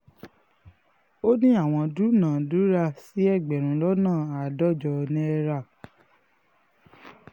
ó ní àwọn dúnàádúrà sí ẹgbẹ̀rún lọ́nà àádọ́jọ náírà